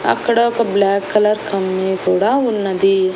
అక్కడ ఒక black colour కమ్మి కూడా ఉన్నది.